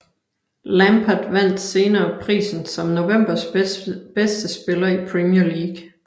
Lampard vandt senere prisen som novembers bedste spiller i Premier League